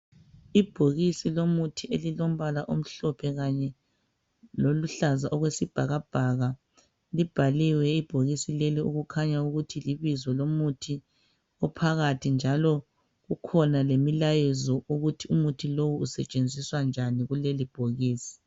Ibhokisi lomuthi elilombala omhlophe kanye loluhlaza okwesibhakabhaka libhaliwe ibhokisi lelo okukhanya ukuthi libizo lomuthi njalo kukhona lemilayezo ukuthi umuthi lowo usetshenziswa njani kulelobhokisi.